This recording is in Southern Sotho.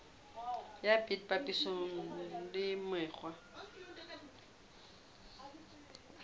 ya bt papisong le mekgwa